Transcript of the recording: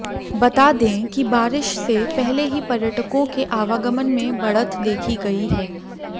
बता दें कि बारिश से पहले ही पर्यटकों के आवागमन में बढ़त देखी गई है